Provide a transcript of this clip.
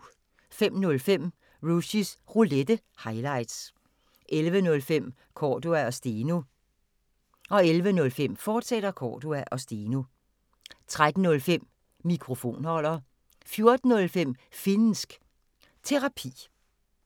05:05: Rushys Roulette – highlights 10:05: Cordua & Steno 11:05: Cordua & Steno, fortsat 13:05: Mikrofonholder 14:05: Finnsk Terapi